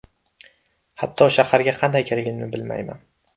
Hatto shaharga qanday kelganimni bilmayman.